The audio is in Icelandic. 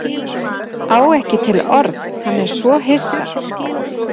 Á ekki til orð, hann er svo hissa.